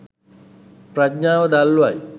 ප්‍රඥාව දල්වයි